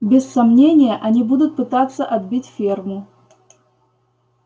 без сомнения они будут пытаться отбить ферму